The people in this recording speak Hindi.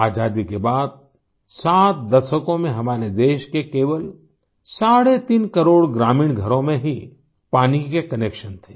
आज़ादी के बाद 7 दशकों में हमारे देश के केवल साढ़े तीन करोड़ ग्रामीण घरों में ही पानी के कनेक्शन थे